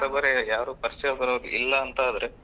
ಹೊಸಬರೇ ಯಾರು ಪರಿಚಯದವರು ಇಲ್ಲ ಅಂತ ಆದ್ರೆ.